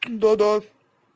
да да